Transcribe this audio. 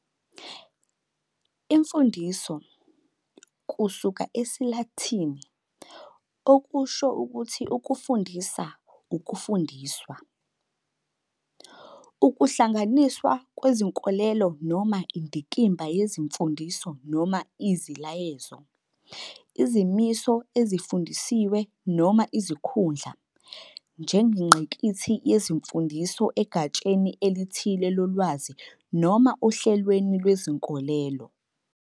Imfundiso, kusuka esiLatini-, okusho ukuthi "ukufundisa, ukufundiswa", ukuhlanganiswa kwezinkolelo noma indikimba yezimfundiso noma iziyalezo, izimiso ezifundisiwe noma izikhundla, njengengqikithi yezimfundiso egatsheni elithile lolwazi noma ohlelweni lwezinkolelo.